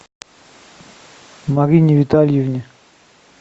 марине витальевне